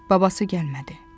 Babası gəlmədi.